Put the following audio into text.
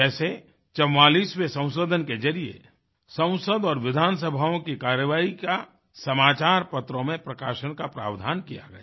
जैसे 44वें संशोधन के जरिये संसद और विधानसभाओं की कार्यवाही का समाचार पत्रों में प्रकाशन का प्रावधान किया गया